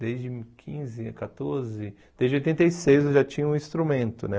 Desde quinze, quatorze, desde oitenta e seis eu já tinha um instrumento, né?